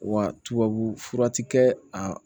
Wa tubabu fura ti kɛ a